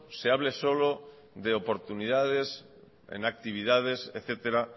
se hable solo de oportunidades en actividades etcétera